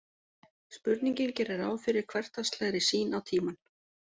Spurningin gerir ráð fyrir hversdagslegri sýn á tímann.